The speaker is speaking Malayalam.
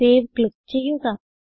സേവ് ക്ലിക്ക് ചെയ്യുക